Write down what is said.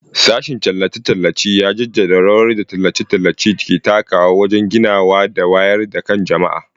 Sashen tallace-tallace ya jaddada rawar da tallace-tallace ke takawa wajen ginawa da wayar da kan jama'a.